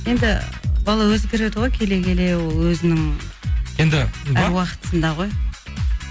енді бала өзгереді ғой келе келе ол өзінің әр уақытысында ғой